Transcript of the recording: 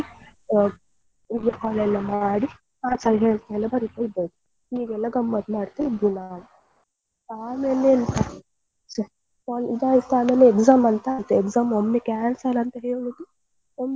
Video call ಎಲ್ಲ ಮಾಡಿ ಎಲ್ಲ ಬರೀತಾ ಇದ್ದದ್ದು ಹೀಗೆಲ್ಲ ಗಮ್ಮತ್ ಮಾಡ್ತಾ ಇದ್ವಿ ನಾವು ಆಮೇಲೆ ಎಂತ ಇದು ಆಯ್ತ್ ಆಮೇಲೆ exam ಅಂತ ಆಯ್ತು exam ಒಮ್ಮೆ cancel ಅಂತ ಹೇಳುದು.